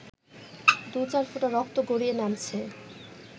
দু-চার ফোঁটা রক্ত গড়িয়ে নামছে